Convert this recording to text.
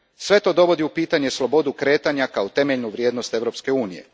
Sve to dovodi u pitanje slobodu kretanja kao temeljnu vrijednost Europske unije.